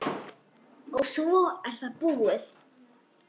og svo er það búið.